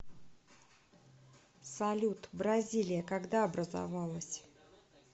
салют бразилия когда образовалась